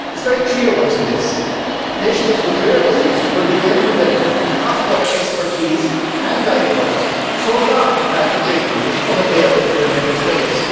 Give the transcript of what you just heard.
It is very clear what is in this. Patients with rare diseases will be able to benefit from cross border expertise and diagnosis so long as the treatment is unavailable in their Member States.